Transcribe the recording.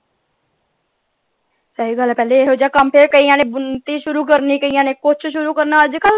ਸਹੀ ਗਲ ਆ ਕਹਿੰਦੇ ਇਹੋ ਜੇਹਾ ਕੰਮ ਫਿਰ ਕਈਆਂ ਨੇ ਬੁਣਤੀ ਸ਼ੁਤੁ ਕਰਨੀ ਕਈਆਂ ਨੇ ਕੁੱਛ ਸ਼ੁਰੂ ਕਰਨਾ ਅੱਜ ਕੱਲ,